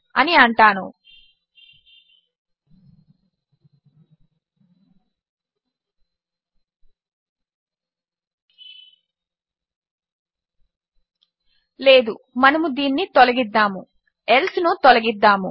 అని అంటాను లేదుమనము దీనిని తొలగిద్దాము ఎల్సే ను తొలగిద్దాము